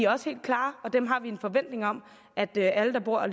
også helt klare og dem har vi en forventning om at alle der bor